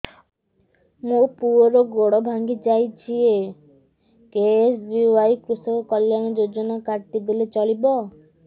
ମୋ ପୁଅର ଗୋଡ଼ ଭାଙ୍ଗି ଯାଇଛି ଏ କେ.ଏସ୍.ବି.ୱାଇ କୃଷକ କଲ୍ୟାଣ ଯୋଜନା କାର୍ଡ ଟି ଦେଲେ ଚଳିବ